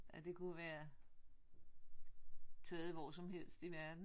Ja det kunne være taget hvor som helst i verden